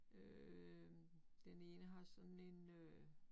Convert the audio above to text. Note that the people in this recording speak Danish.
Øh den ene har sådan en øh